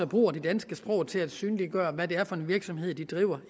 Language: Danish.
bruger det danske sprog til at synliggøre hvad det er for en virksomhed de driver